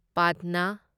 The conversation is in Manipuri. ꯄꯥꯠꯅꯥ